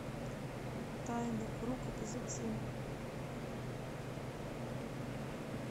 тайный круг эпизод семь